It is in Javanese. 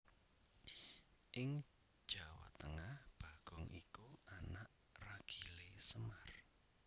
Ing Jawa Tengah bagong iku anak ragilé Semar